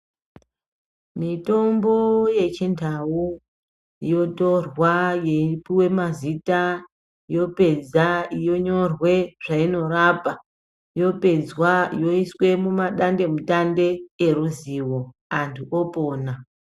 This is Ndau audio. Mitombo yechindau yotorwa yeipuwa mazita yopedza yonyorwa zvainorapwa, yapedza yoiswa mumadandemutande oruzivo ,antu opona.